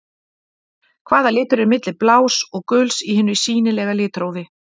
Hvaða litur er milli blás og guls í hinu sýnilega litrófi?